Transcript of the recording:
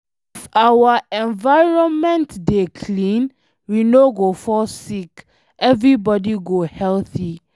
If our environment dey clean, we no go fall sick, everybody go healthy